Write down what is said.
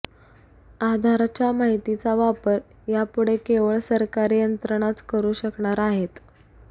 आधारच्या माहितीचा वापर यापुढे केवळ सरकारी यंत्रणाच करू शकणार आहेत